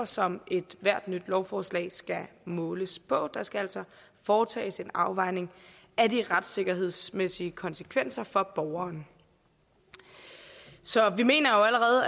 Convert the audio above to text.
som ethvert nyt lovforslag skal måles på der skal altså foretages en afvejning af de retssikkerhedsmæssige konsekvenser for borgeren så vi mener jo